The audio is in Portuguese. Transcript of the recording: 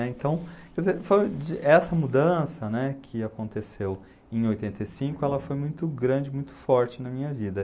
né. Então, quer dizer, foi de, essa mudança que aconteceu em oitenta e cinco, ela foi muito grande, muito forte na minha vida.